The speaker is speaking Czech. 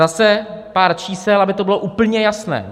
Zase pár čísel, aby to bylo úplně jasné.